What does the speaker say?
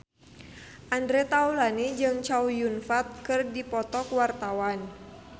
Andre Taulany jeung Chow Yun Fat keur dipoto ku wartawan